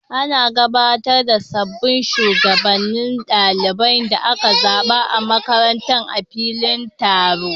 An gabatar da sabbin shugabannin ɗalibai da aka zaba a makarantar a filin taro.